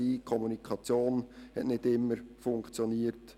Die Kommunikation hat nicht immer funktioniert.